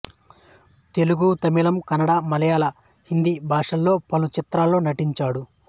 తెలుగు తమిళంకన్నడ మళయాల హిందీ భాషలలో పలు చిత్రాలలో నటించాడు